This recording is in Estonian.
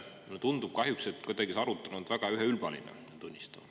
Mulle tundub, et see arutelu on kahjuks olnud kuidagi väga üheülbaline.